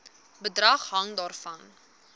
bedrag hang daarvan